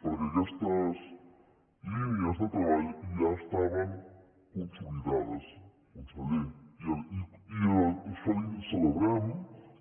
perquè aquestes línies de treball ja estaven consolidades conseller i celebrem